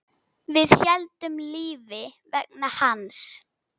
Við héldum lífi vegna hans.